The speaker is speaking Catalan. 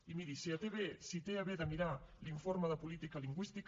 i miri si té a bé de mirar l’informe de política lingüística